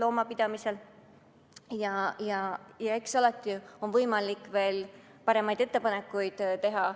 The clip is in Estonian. Eks alati ole Urmas Kruusel võimalik muudatusettepanekutena veel paremaid ettepanekuid teha.